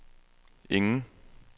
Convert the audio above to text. ingen